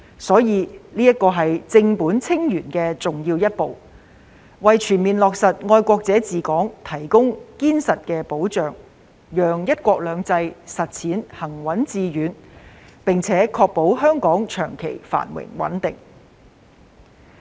所以，這是正本清源的重要一步，為全面落實"愛國者治港"提供堅實的保障，讓"一國兩制"的實踐行穩致遠，並確保香港長期繁榮穩定。